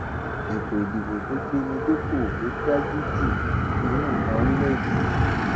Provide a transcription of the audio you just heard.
ètò ìdìbò tó gbé mi dépò ló dáa jù nínú ìtàn orílẹèdè yìí